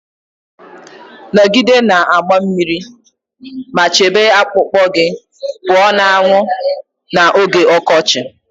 Nọgide na-agba mmiri ma chebe akpụkpọ gị pụọ na anwụ n'oge ọkọchị